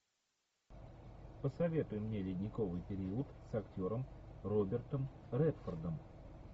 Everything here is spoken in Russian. посоветуй мне ледниковый период с актером робертом редфордом